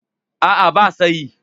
A'a, ba sa yi.